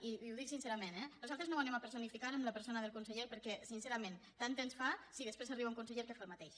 i ho dic sincerament eh nosaltres no ho personificarem en la persona del conseller perquè sincerament tant ens fa si després arriba un conseller que fa el mateix